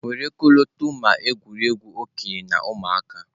Were ọkọlọtọ ma egwuregwu okenye na ụmụaka.